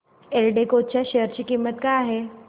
एल्डेको च्या शेअर ची किंमत काय आहे